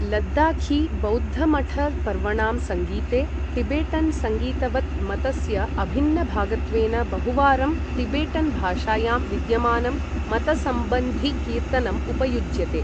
लद्दाखी बौद्ध मठ पर्वणां सङ्गीते टिबेटन् सङ्गीतवत् मतस्य अभिन्नभागत्वेन बहुवारं टिबेटन् भाषायां विद्यमानं मतसंबन्धि कीर्तनम् उपयुज्यते।